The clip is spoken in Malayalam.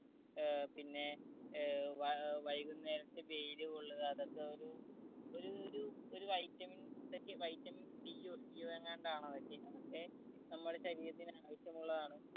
ഏർ പിന്നെ ഏർ വ വൈകുന്നേരത്തെ വെയില് കൊള്ളുക അതൊക്കെ ഒരു ഒരു ഒരു ഒരു vitamins ഒക്കെ tamin d ഓ ക്ക ഓ എങ്ങാണ്ടാണ് അതൊക്കെ അതൊക്കെ നമ്മുടെ ശരീരത്തിന് ആവിശ്യമുള്ളതാണ്